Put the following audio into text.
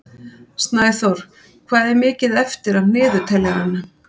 Snæþór, hvað er mikið eftir af niðurteljaranum?